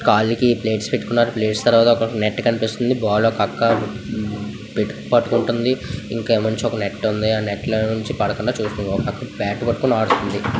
ఇక్కడ కొన్ని కొన్ని వికెట్ కీపర్ వికెట్ల ఉకులెలెకున్నారు. ఖాళీ ప్లేట్ తర్వాత నెక్స్ట్ బాక్. పాట యొక్క కొత్త వెర్షన్ ప్రారంభించండి.